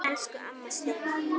Hvers á síldin að gjalda?